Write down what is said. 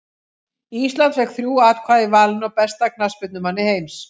Ísland fékk þrjú atkvæði í valinu á besta knattspyrnumanni heims.